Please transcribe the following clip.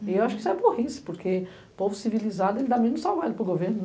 E eu acho que isso é burrice, porque o povo civilizado dá menos salário para o governo.